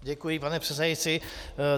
Děkuji, pane předsedající.